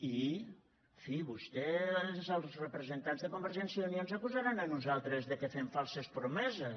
i en fi vostès els representants de convergència i unió ens acusaran a nosaltres que fem falses promeses